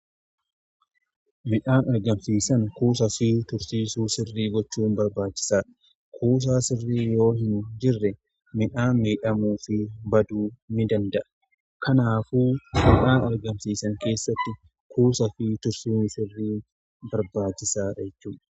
Midhaan argamsiisan kuusaa fi tursiisa sirrii gochuun barbaachisaadha. Kuusaa sirriin yoo hin jirre midhaan miidhamuu fi baduu ni danda'a. Kanaafuu midhaan argamsiisan keessatti kuusaa fi tursiisni sirriin barbaachisaadha.